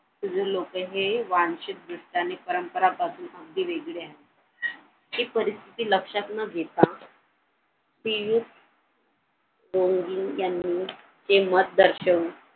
पूर्वी लोक हे पानशेत वृत्ताने परंपरा पासून अगदी वेगळे आहेत. हि परिस्थिती लक्षात न घेता पियुष यांनी ते मत दर्शवून